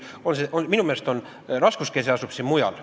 Minu meelest asub raskuskese mujal.